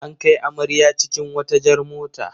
An kai amarya cikin wata jar mota.